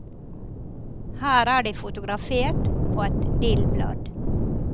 Her er de fotografert på et dillblad.